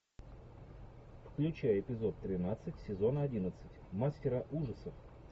включай эпизод тринадцать сезона одиннадцать мастера ужасов